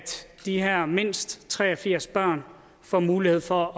de her mindst tre og firs børn får mulighed for